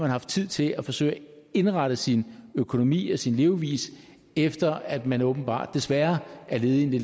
haft tid til at forsøge at indrette sin økonomi og sin levevis efter den at man åbenbart desværre er ledig